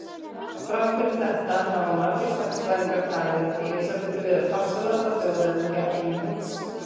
Þrátt fyrir þetta hafa margir sagnfræðingar talið Elísabetu vera farsælasta þjóðhöfðingja Englands.